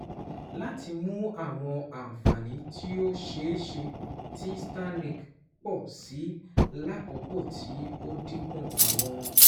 Lati mu awọn anfani ti o ṣeeṣe ti Starlink pọ si lakoko ti o dinku awọn